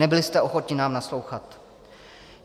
Nebyli jste ochotni nám naslouchat.